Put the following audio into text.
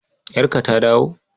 Yarka ta dawo?